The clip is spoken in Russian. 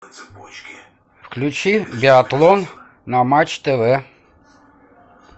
включи биатлон на матч тв